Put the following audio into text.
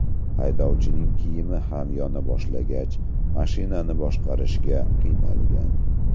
Haydovchining kiyimi ham yona boshlagach, mashinani boshqarishga qiynalgan.